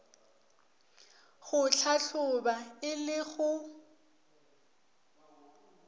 go hlahloba e le go